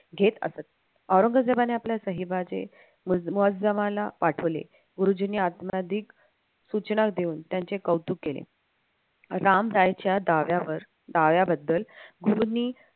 घेत असत औरंजेबाने आपल्या साहेबाची पाठवले गुरुजींनी आत्माधिक सूचना देऊन त्यांचे कौतुक केले रामरायच्या दाव्यावर दाव्याबद्दल गुरूंनी